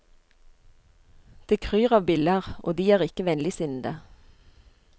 Det kryr av biller, og de er ikke vennligsinnede.